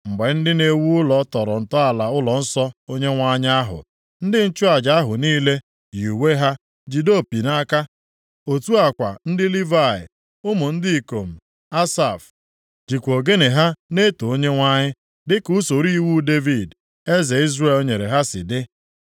Mgbe ndị na-ewu ụlọ tọrọ ntọala ụlọnsọ Onyenwe anyị ahụ, ndị nchụaja ahụ niile yii uwe ha jide opi nʼaka. Otu a kwa ndị Livayị, ụmụ ndị ikom Asaf jikwa ogene ha na-eto Onyenwe anyị dịka usoro iwu Devid, eze Izrel nyere ha si dị.